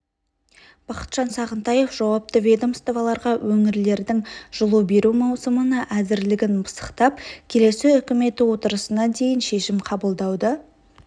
бақытжан сағынтаев жауапты ведомстволарға өңірлердің жылу беру маусымына әзірлігін пысықтап келесі үкіметі отырысына дейін шешім қабылдауды